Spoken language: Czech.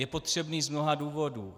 Je potřebný z mnoha důvodů.